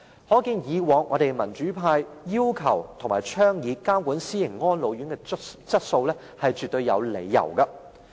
可見，民主派以往要求及倡議監管私營安老院的質素，是絕對有理由的。